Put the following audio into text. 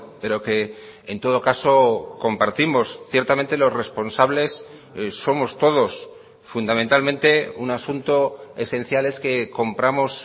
pero que en todo caso compartimos ciertamente los responsables somos todos fundamentalmente un asunto esencial es que compramos